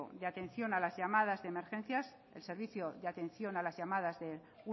de atención a las llamadas de emergencia el servicio de atención a las llamadas de